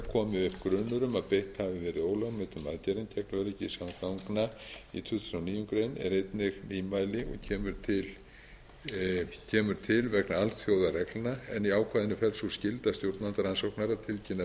komi upp grunur um að beitt hafi verið ólögmætum aðgerðum gegn öryggi samgangna í tuttugasta og níundu grein er einnig nýmæli og kemur til vegna alþjóðareglna en í ákvæðinu felst sú skylda stjórnvalda rannsóknar að tilkynna viðeigandi